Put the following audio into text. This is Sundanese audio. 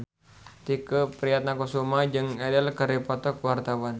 Tike Priatnakusuma jeung Adele keur dipoto ku wartawan